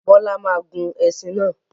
Bọ́lá máa gun ẹṣin náà.